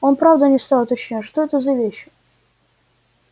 он правда не стал уточнять что это за вещи